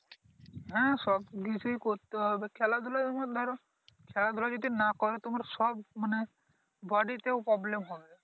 হ্যাঁ সবকিছুই করতে হবে খেলাধুলার ধরো, খেলাধুলা যদি নাহ করো তোমার সব মানে বডিতে ও Problem হবে